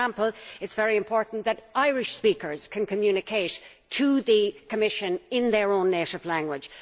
For example, it is very important that Irish speakers can communicate with the Commission in their own native language.